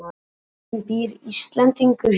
Bókin Býr Íslendingur hér?